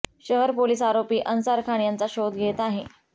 शहर पोलीस आरोपी अन्सार खान याचा शोध घेत आहे